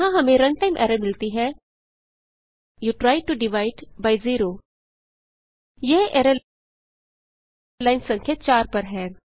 यहाँ हमें runtime error मिलती है you tried to divide by zero यह एरर लाइन संख्या 4 पर है